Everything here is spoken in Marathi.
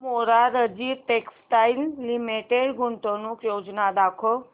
मोरारजी टेक्स्टाइल्स लिमिटेड गुंतवणूक योजना दाखव